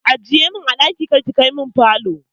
Ajiye min a falo kar ki kai min ɗaki.